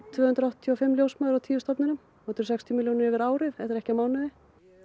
tvö hundruð áttatíu og fimm ljósmæður á tíu stofnunum þetta eru sextíu milljónir yfir árið þetta er ekki á mánuði